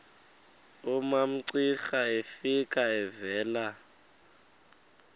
umamcira efika evela